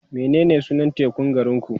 menene sunan tekun garinku?